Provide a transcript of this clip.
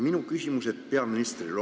Minu küsimused peaministrile.